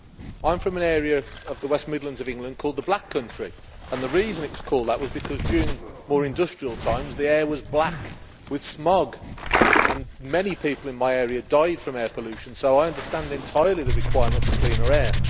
I am from an area of the West Midlands of England called the Black Country and the reason it was called that was because during more industrial times the air was black with smog and many people in my area died from air pollution, so I understand entirely the requirement for cleaner air.